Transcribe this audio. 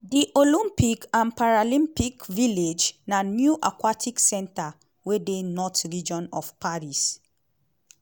di olympic and paralympic village na new aquatics centre wey dey north region of paris